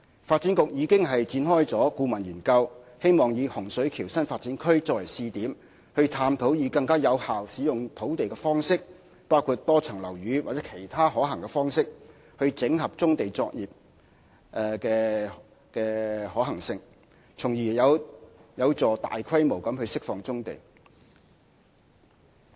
發展局已經展開顧問研究，希望以洪水橋新發展區作為試點，探討更有效使用土地的方式，包括多層樓宇或其他可行的方式，整合棕地作業的可行性，從而有助大規模釋放棕地。